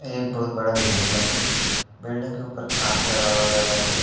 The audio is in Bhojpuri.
एक बहुत बड़ा बिल्डिंग बाटे। बिल्डिंग के ऊपर कांच लगावल गइल बाटे।